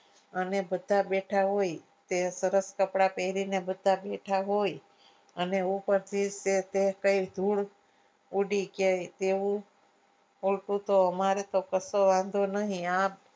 અને બધા બેઠા હોય તે સરસ કપડાં પહેરીને બધા બેઠા હોય અને ઉપરથી તે કંઈ જોડ ઉડી કે તેવું અમારે તો કશો વાંધો નહીં.